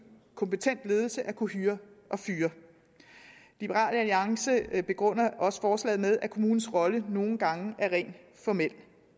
kompetent ledelse at kunne hyre og fyre liberal alliance begrunder også forslaget med at kommunens rolle nogle gange er rent formel